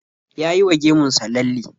Ya yi wa gemun sa lalle.